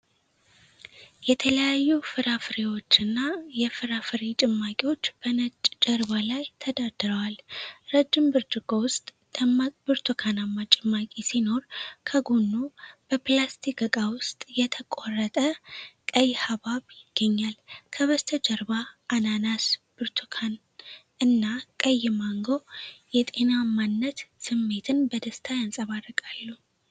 የተለያዩ ፍራፍሬዎችና የፍራፍሬ ጭማቂዎች በነጭ ጀርባ ላይ ተደርድረዋል። ረጅም ብርጭቆ ውስጥ ደማቅ ብርቱካናማ ጭማቂ ሲኖር፣ ከጎኑ በፕላስቲክ ዕቃ ውስጥ የተቆረጠ ቀይ ሐብሐብ ይገኛል። ከበስተጀርባ አናናስ፣ ብርቱካን እና ቀይ ማንጎ የጤናማነት ስሜትን በደስታ ያንጸባርቃሉ።